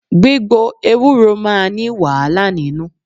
Gbígbo Ewúro máa ní wàhálà nínú.